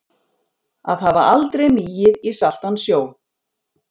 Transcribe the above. Að hafa aldrei migið í saltan sjó